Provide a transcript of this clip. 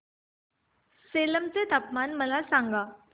सेलम चे तापमान मला सांगा